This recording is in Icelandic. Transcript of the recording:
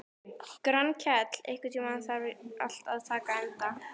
Grankell, einhvern tímann þarf allt að taka enda.